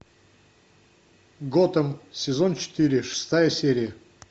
готэм сезон четыре шестая серия